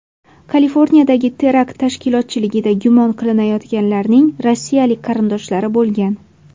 Kaliforniyadagi terakt tashkilotchiligida gumon qilinayotganlarning rossiyalik qarindoshlari bo‘lgan.